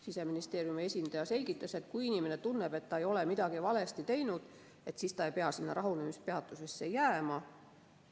Siseministeeriumi esindaja selgitas, et kui inimene tunneb, et ta ei ole midagi valesti teinud, siis ta ei pea rahunemispeatusesse jääma.